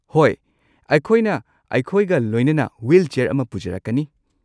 ꯍꯣꯏ, ꯑꯩꯈꯣꯏꯅ ꯑꯩꯈꯣꯏꯒ ꯂꯣꯏꯅꯅ ꯋ꯭ꯍꯤꯜꯆꯦꯌꯔ ꯑꯃ ꯄꯨꯖꯔꯛꯀꯅꯤ꯫